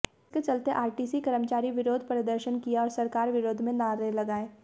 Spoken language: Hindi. इसके चलते आरटीसी कर्मचारी विरोध प्रदर्शन किया और सरकार विरोध में नारे लगाये